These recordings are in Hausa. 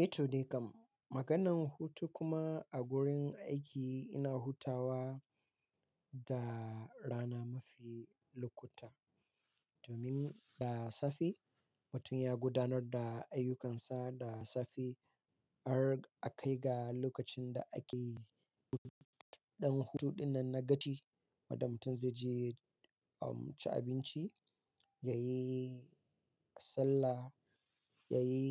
Eh to dai kam, maganan hutu kuma a gurin aiki ina hutawa da rana mafi lokuta domin da safe mutum ya gudanar da ayyukansa da safe har a kai ga lokacin da ake ɗan hutu. Ɗan hutu dinnan na gaci wadda mutum zai je ya ci abinci, ya yi sallah, ya yi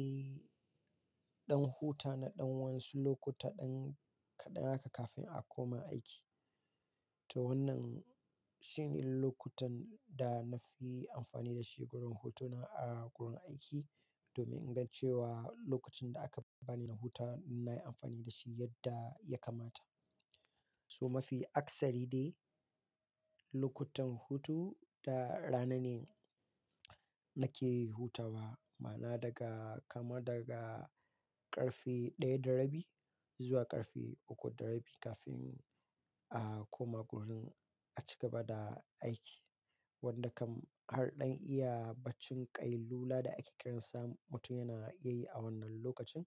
ɗan huta na ɗan waƴansu lokuta kaɗan haka kafin a koma aiki. To wannan shine lokutan da na fi amfani da shi gurin hutuna a gurin aiki domin in gan cewa lokacin da aka bani na huta na yi amfani da shi yadda ya kamata. So mafi akasari dai lokutan hutu da rana ne nake hutawa, ma'na daga kama daga ƙarfe ɗaya da rabi zuwa ƙarfe uku da rabi kafin a koma gurin a cigaba da aiki. Wanda kam har ɗan iya baccin ƙai lula da ake kiransa mutum yana iyayi a wannan lokacin.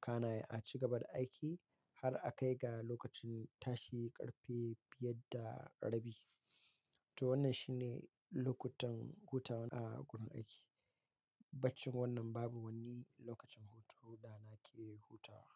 Kana a cigaba da aiki har a kai ga lokacin tashi ƙarfe biyar. To wannan shine lokutan hutawa a gurin aiki. Baccin wannan babu wani lokacin hutu da nake hutawa.